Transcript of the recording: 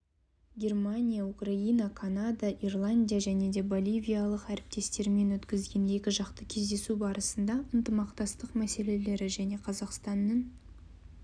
германия украина канада ирландия және боливиялық әріптестерімен өткізген екіжақты кездесу барысында ынтымақтастық мәселелері және қазақстанның